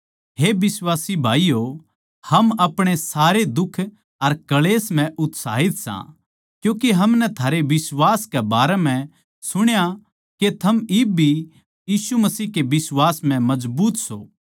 हे बिश्वासी भाईयो हम अपणी सारे दुख अर क्ळेश म्ह उत्साहित सां क्यूँके हमनै थारै बिश्वास के बारै म्ह सुणा के थम इब भी यीशु मसीह के बिश्वास म्ह मजबूत सों